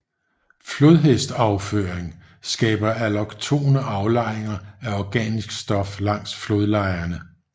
Flodhestafføring skaber alloktone aflejringer af organisk stof langs flodlejerne